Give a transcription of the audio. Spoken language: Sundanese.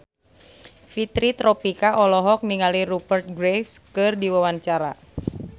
Fitri Tropika olohok ningali Rupert Graves keur diwawancara